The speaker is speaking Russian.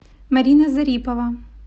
марина зарипова